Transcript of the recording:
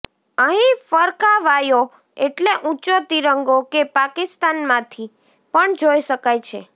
અહીં ફરકાવાયો એટલે ઊંચો તિરંગો કે પાકિસ્તાનમાંથી પણ જોઈ શકાય છે